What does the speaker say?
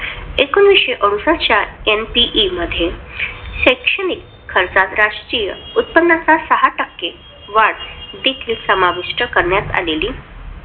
एकोणविशे अडुसष्ट च्या NPE मध्ये शैक्षणिक खर्चात राष्ट्रीय उत्पन्नाच्या सहा टक्के वाढ देखील समाविष्ट करण्यात आलेली.